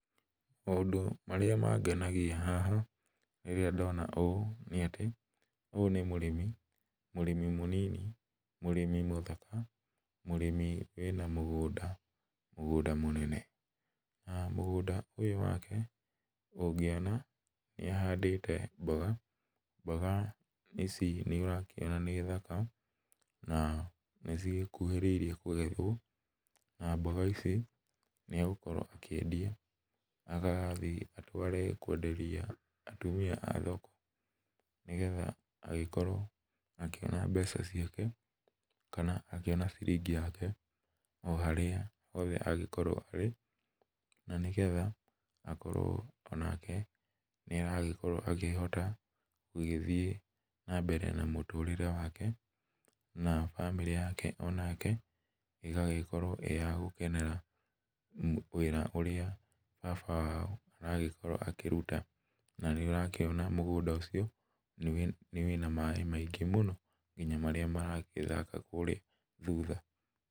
Maũndũ marĩa mangenagia haha rĩrĩa ndona ũũ nĩatĩ, ũyũ nĩ mũrĩmi mũrĩmi mũnini, mũrĩmi mũthaka, mũrĩmi wĩna mũgũnda, mũgũnda mũnene. Na, mũgũnda ũyũ wake ũngĩona nĩahandĩte mboga, mboga ici nĩũrakĩona nĩ thaka, na nĩcigĩkuhĩrĩirie kũgethwo, na mboga ici nĩegũkorwo akĩendia agathiĩ atware kwenderia atumia a thoko nĩgetha agĩkorwo akĩona mbeca ciake kana akĩona ciringi yake o harĩa hothe angĩkorwo arĩ, na nĩgetha akorwo onake nĩaragĩkowo akĩhota gũgĩthiĩ na mbere na mũtũrĩre wake, na bamĩrĩ yake onake ĩgagĩkorwo ĩ ya gũkenera wĩra ũrĩa baba wao aragĩkorwo akĩruta, na nĩũrakĩona mũgũnda ũcio nĩ wĩna maĩ maingĩ mũno nginya marĩa maragĩthaka kũrĩa thutha.